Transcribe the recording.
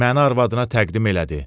Məni arvadına təqdim elədi.